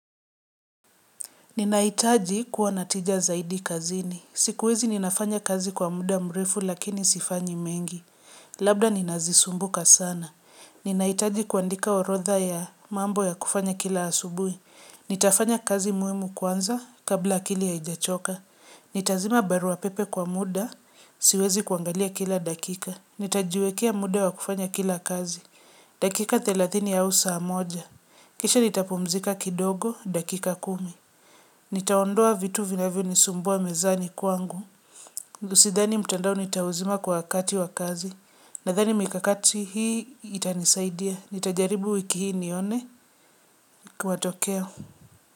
Ninahitaji kuwa na tija zaidi kazini. Siku hizi ninafanya kazi kwa muda mrefu lakini sifanyi mengi. Labda ninazisumbuka sana. Ninahitaji kuandika orotha ya mambo ya kufanya kila asubuhi. Nitafanya kazi muhimu kwanza kabla akili haijachoka. Nitazima barua pepe kwa muda, siwezi kuangalia kila dakika. Nitajiwekea muda wa kufanya kila kazi. Dakika thelathini au saa moja. Kisha nitapumzika kidogo, dakika kumi. Nitaondoa vitu vinavyonisumbua mezani kwangu. Sidhani mtandao nitauzima kwa wakati wa kazi. Nadhani mikakati hii itanisaidia. Nitajaribu wiki hii nione. Matokeo.